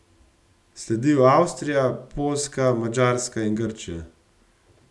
Sledijo Avstrija, Poljska, Madžarska in Grčija.